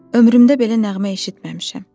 Ömrümdə belə nəğmə eşitməmişəm.